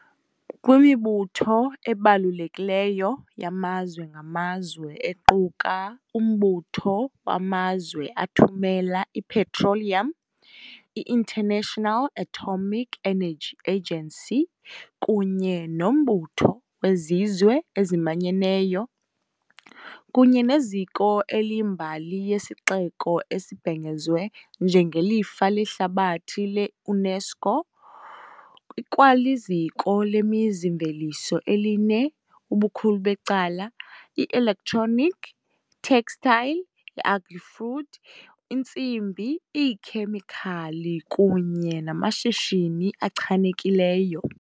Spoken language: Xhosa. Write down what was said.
kwimibutho ebalulekileyo yamazwe ngamazwe equka- uMbutho wamazwe aThumela iPetroleum, i- International Atomic Energy Agency kunye noMbutho weZizwe eziManyeneyo kunye neziko eliyimbali yesixeko esibhengezwe njengelifa lehlabathi le- UNESCO., ikwaliziko lemizi-mveliso eline, ubukhulu becala, i-electronic, textile, agri-food, intsimbi, iikhemikhali kunye namashishini achanekileyo.